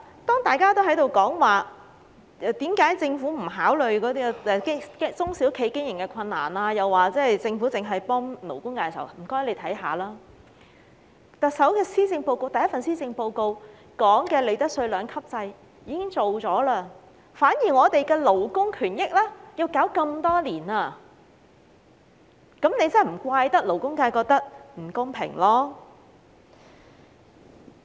當大家在討論為何政府不考慮中小企的經營困難，又說政府只是幫勞工界時，請他們看看特首的首份施政報告，當中提到的利得稅兩級制已經落實，反而我們的勞工權益卻搞了這麼多年，政府真的不能責怪勞工界覺得不公平。